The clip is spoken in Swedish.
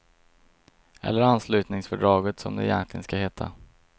Eller anslutningsfördraget som det egentligen ska heta.